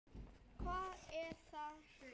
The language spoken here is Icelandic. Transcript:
Hvað er þér á höndum?